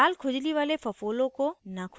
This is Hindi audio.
लाल खुजली वाले फफोले को न खुजायें